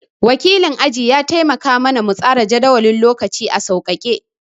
Wakilin aji ya taimaka ma na mu tsara jadawalin lokaci a sauƙake